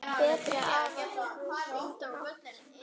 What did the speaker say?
Betri afa hefur enginn átt.